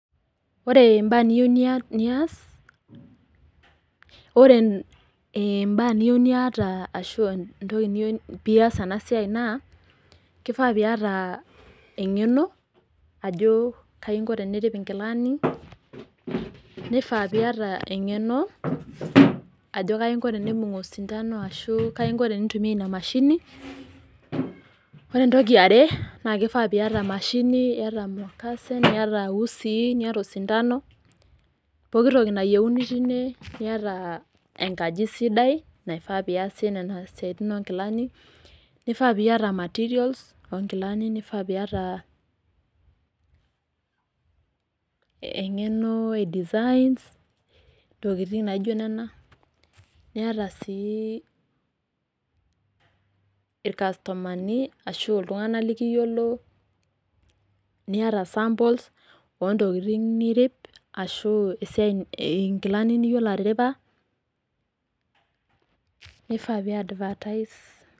Ore imbaa niyieu nias, ore imbaa niyieu niata ashu entoki niyieu pias enasiai naa, kifaa piata eng'eno ajo kainko tenirip inkilani, nifaa piata eng'eno ajo kainko tenibung' osindano ashu kainko tenintumia inamashini, ore entoki eare, naa kifaa piata emashini, yata emukase niata usii niata osindano, poki toki nayieuni tine, niata enkaji sidai naifaa piasie nena siaitin onkilani, kifaa piata materials onkilani, nifaa piata eng'eno e design, intokiting naijo nena, niata si irkastomani ashu iltung'anak likiyiolo, niata samples ontokiting nirip, ashu inkilani niyiolo atiripa, nifaa pi advertise.